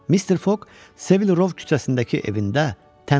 Mister Foq Sevil Rov küçəsindəki evində tənha yaşayırdı.